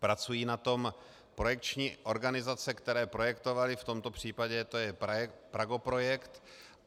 Pracují na tom projekční organizace, které projektovaly, v tomto případě to je Pragoprojekt.